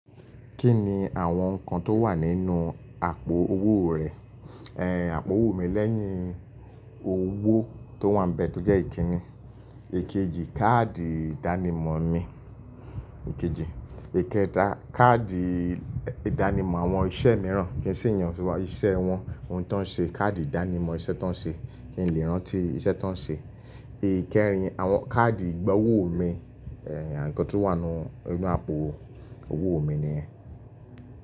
Kí ni àwọn nǹkan tó wà nínú àpò owó rẹ? Àpò owó mi lẹ́yìn owó tó wà nbẹ̀ tó jẹ́ ìkíni. Ikejì, káàdì ìdánimọ̀ mi. Èkejì. Èkẹta, káàdì ìdánimọ̀ àwọn iṣẹ́ mìíràn kí ń sì yàn ṣúgbọ́n iṣẹ́ wọn, ohun tó ń ṣe, káàdì ìdánimọ̀ iṣẹ́ tó ń ṣe kí n lè rántí iṣẹ́ tó ń ṣe. Ikẹrin, àwọn káàdì ìgbowó mi nǹkan tó wà nínú àpò owó mi nìyẹn.